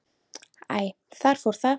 Æ, þar fór það.